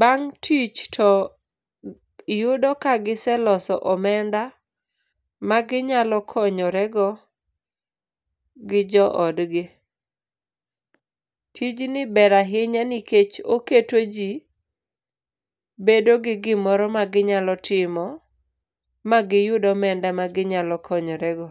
bang' tich to yudo ka giseloso omenda maginyalo konyorego gi joodgi. Tijni ber ahinya nikech oketo jii bedo gi gimoro maginyalo timo magiyud omenda ma ginyalo konyorego.